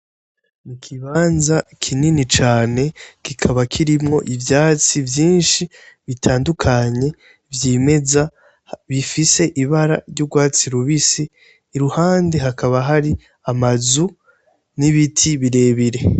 Ikibanza kinini cane kikaba kirimwo ivyatsi vyinshi bitandukanye vyimeza bifise ibara ry'urwatsi rubisi ,iruhande hakaba hari amazu n'ibiti birebire.